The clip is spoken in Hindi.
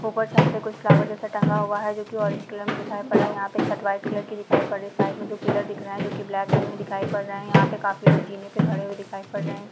ऊपर छत पे कुछ फ्लावर जैसा टंगा हुआ है जोकी ऑरेंज कलर में दिखाई पड़ रहा है यहाँ पे छत व्हाइट कलर की दिखाई पड़ रही है साइड में दो पिलर दिख रहें हैं जो की ब्लैक रंग में दिखाई पड़ रहें हैं यहाँ पे काफी लोग जीने पे खड़े हुए दिखाई पड़ रहें हैं।